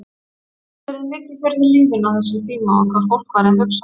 Veltirðu mikið fyrir þér lífinu á þessum tíma og hvað fólk væri að hugsa?